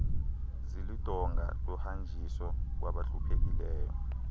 ziludonga lohanjiso kwabahluphekileyo